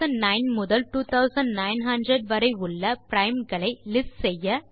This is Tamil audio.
2009 முதல் 2900 வரை உள்ள பிரைம்ஸ் களை லிஸ்ட் செய்ய